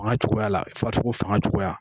Fanga cogoya la farisoko fanga cogoya.